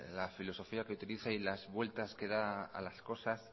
la filosofía que utiliza y las vueltas que da a las cosas